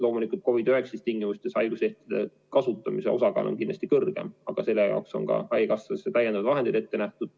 Loomulikult COVID‑19 tingimustes on haiguslehtede kasutamise osakaal kindlasti kõrgem, aga selle jaoks on ka haigekassast täiendavad vahendid ette nähtud.